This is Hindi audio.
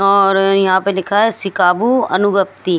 और यहां पे लिखा है शिकाबु अनुभक्ति--